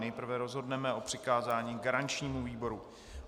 Nejprve rozhodneme o přikázání garančnímu výboru.